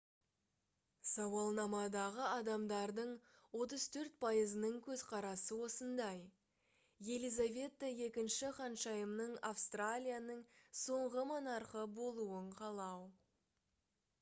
сауалнамадағы адамдардың 34 пайызының көзқарасы осындай елизавета ii ханшайымның австралияның соңғы монархы болуын қалау